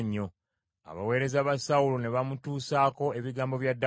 Abaweereza ba Sawulo ne bamutuusaako ebigambo bya Dawudi.